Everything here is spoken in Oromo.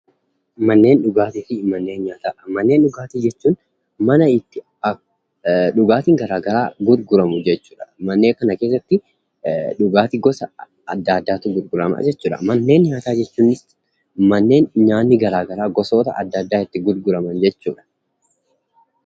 Manneen dhugaatii jechuun mana itti dhugaatii garagaraa gurguramu jechuudha. Mana nyaataa jechuun bakka nyaanni gosa garagaraa itti gurguraman jechuudha.